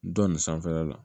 Dɔ nin sanfɛla la